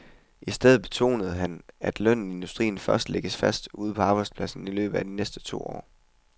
I stedet betonede han, at lønnen i industrien først lægges fast ude på arbejdspladserne i løbet af de næste to år.